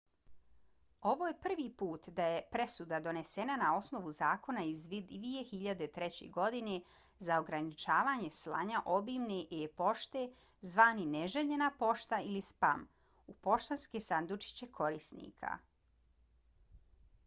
ovo je prvi put da je presuda donesena na osnovu zakona iz 2003. godine za ograničavanje slanja obimne e-pošte zvane neželjena pošta ili spam u poštanske sandučiće korisnika